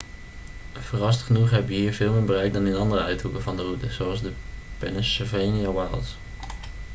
verrassend genoeg heb je hier veel meer bereik dan in andere uithoeken van de route zoals de pennsylvania wilds